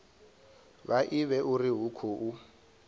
vha ivhe uri hu khou